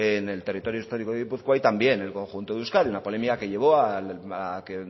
en el territorio histórico de gipuzkoa y también en el conjunto de euskadi una polémica que llevó a que